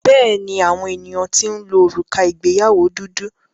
Bẹ́ẹ̀ni, àwọn ènìyàn ti ń lo òrùka ìgbéyàwó dúdú.